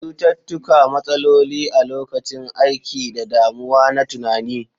Cututtuka, matsaloli a lokacin aiki, da damuwa na tunani.